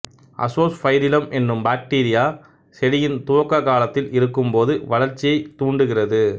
azospirillum என்னும் bacteria செடியின் துவக்ககாலத்தில் இருக்கும் போது வளர்ச்சியைத் தூண்டுகிறது